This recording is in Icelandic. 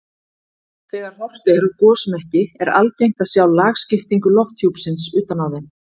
Þegar horft er á gosmekki er algengt að sjá lagskiptingu lofthjúpsins utan á þeim.